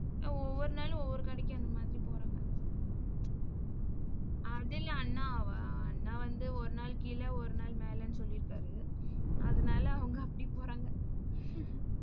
ஒவ்வொரு நாளும் ஒவ்வொரு கடைக்கு அந்த மாதிரி போறாங்க. அண்ணா வ~ அண்ணா வந்து ஒரு நாள் கீழே ஒரு நாள் மேலன்னு சொல்லிருக்காரு. அதனால, அவங்க அப்படி போறாங்க.